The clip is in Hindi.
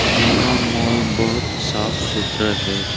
यहां माल बहोत साफ सुथरा है।